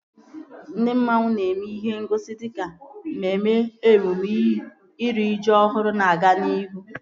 Ndị mmanwu nọ na-eme ihe ngosi dịka mmemme emume iri ji ọhụrụ na-aga n'ihu